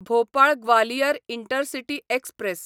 Bhopal Gwalior intercity express